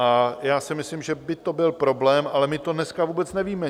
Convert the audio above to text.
A já si myslím, že by to byl problém, ale my to dneska vůbec nevíme.